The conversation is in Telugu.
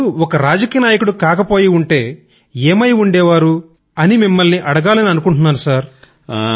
మీరు ఒక రాజకీయ నాయకుడు కాకపోయి ఉంటే ఏమై ఉండేవారు అని మిమ్మల్ని అడగాలనుకున్నాను సర్